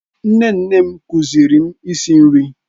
Nne nne m kụziiri m isi nri